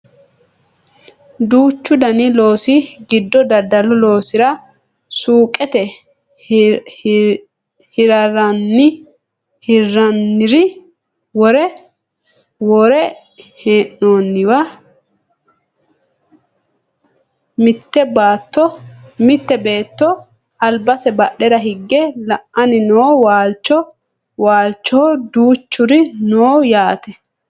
duuchu dani loosi giddo daddalu loosira suuqete hirrannire worre hee'noonniwa mitte beetto albase bahdera higge la"anni no waalchoho duuchuri no yaate